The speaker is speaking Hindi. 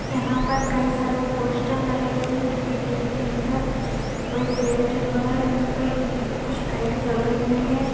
यहाँ पर कई सारे पोस्टर लगे हुए हैं बिल्डिंग के अंदर और एक फैन चल रहा है यहाँ पे ल कुछ लाइट जल रही हुई हैं।